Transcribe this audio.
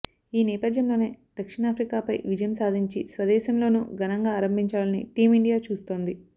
ఈ నేపథ్యంలోనే దక్షిణాఫ్రికాపై విజయం సాధించి స్వదేశంలోనూ ఘనంగా ఆరంభించాలని టీమిండియా చూస్తోంది